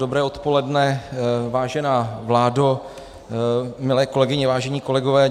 Dobré odpoledne, vážená vládo, milé kolegyně, vážení kolegové.